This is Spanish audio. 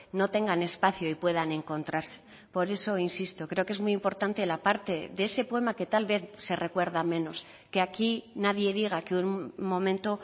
no tengan espacio y puedan encontrarse por eso insisto creo que es muy importante la parte de ese poema que tal vez se recuerda menos que aquí nadie diga que un momento